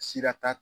Sira t'a